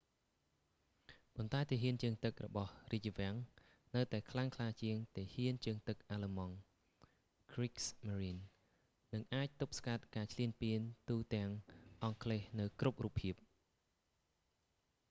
ប៉ន្តែទាហានជើងទឹករបស់​រាជវាំងនៅតែខ្លាំងក្លា​ជាងទាហាន​ជើងទឹកអាឡឺម៉ង់ kriegsmarine” និងអាចទប់ស្កាត់​ការឈ្លានពានទូទាំងអង់គ្លេសនៅគ្រប់រូបភាព។